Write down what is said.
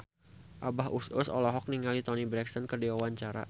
Abah Us Us olohok ningali Toni Brexton keur diwawancara